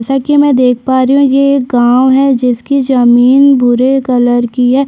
जैसा की मैं देख पा रही हूँ ये एक गांव है जिसकी जमींन भूरे कलर की है।